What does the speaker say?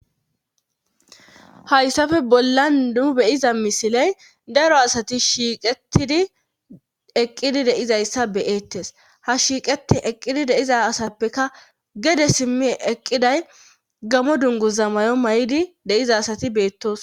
hayssafe bolla nu beyiza misiley daro asati shiiqetidi eqqidi deizayssa beyeettes ha shiiqeti eqqidi deiza asappeka gede simmi eqqiday gamo dunguza mayo may7idi deiza asati beettoos